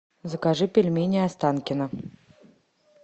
закажи пельмени останкино